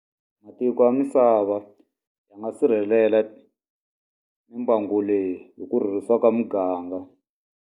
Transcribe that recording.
Matiko ya misava, ya nga sirhelela mimbangu leyi hi ku rhurhisa ka muganga.